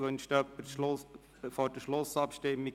Wünscht jemand das Wort vor der Schlussabstimmung?